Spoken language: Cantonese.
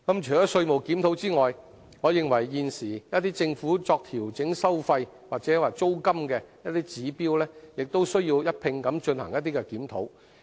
除稅務檢討外，我認為現時一些政府作調整收費或租金的指標亦需一併進行檢討。